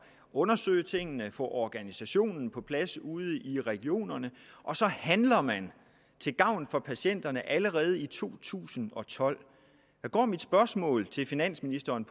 undersøge tingene og få organisationen på plads ude i regionerne og så handler man til gavn for patienterne allerede i to tusind og tolv mit spørgsmål til finansministeren